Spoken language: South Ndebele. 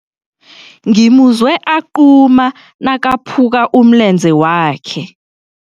Ngimuzwe aquma nakaphuka umlenze wakhe.